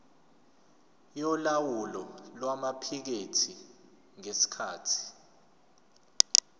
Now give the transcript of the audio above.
yolawulo lwamaphikethi ngesikhathi